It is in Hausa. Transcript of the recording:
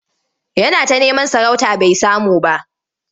Yana ta neman sarauta bai samu ba.